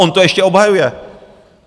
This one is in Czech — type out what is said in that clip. On to ještě obhajuje.